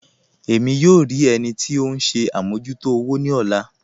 Ẹ̀mí yóò rí ẹnì tì ọ̀hun ṣè àmọ̀jútò òwò ni ọ̀lá